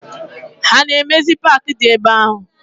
Ha na emezi park di ebe ahu?